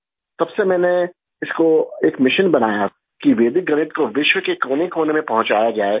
तब से मैंने इसको एक मिशन बनाया कि वैदिक गणित को विश्व के कोनेकोने में पहुंचाया जाये